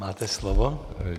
Máte slovo.